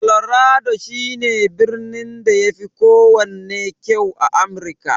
Colorado shi ne birnin da yafi kowanne kyau a Amirka.